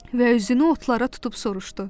Və üzünü otlara tutub soruşdu: